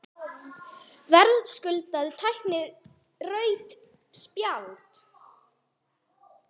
Verðskuldaði tæklingin rautt spjald?